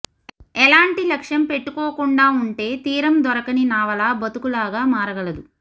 ఎలాంటి లక్ష్యం పెట్టుకోకుండా ఉంటే తీరం దొరకని నావలా బతుకులాగా మారగలదు